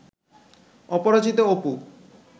Aparajito Apu